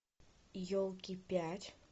елки пять